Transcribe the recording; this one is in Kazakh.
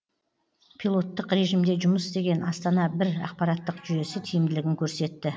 пилоттық режимде жұмыс істеген астана бір ақпараттық жүйесі тиімділігін көрсетті